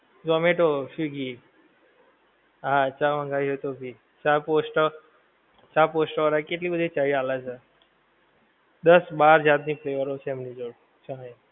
zomato swiggy હા ચા મંગાઈ હોએ તો ભી ચા પોસ્ટ વાળા ચા પોસ્ટ વાળા કેટલી બધી ચાએ આલે છે દસ બાર જાત ની flavor ઓ છે એમની જોડે ચાએ